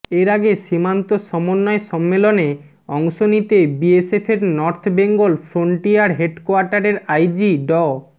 এর আগে সীমান্ত সমন্বয় সম্মেলনে অংশ নিতে বিএসএফের নর্থ বেঙ্গল ফ্রন্টিয়ার হেডকোয়ার্টারের আইজি ড